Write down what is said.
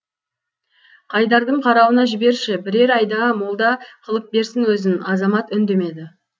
қайдардың қарауына жіберші бірер айда молда қылып берсін өзін азамат үндемеді